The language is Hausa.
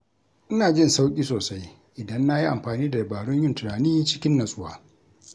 Ina jin sauƙi sosai idan na yi amfani da dabarun yin tunani cikin natsuwa.